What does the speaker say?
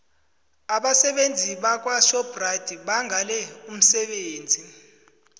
abasebenzi bakwashoprite bangale umsebenzi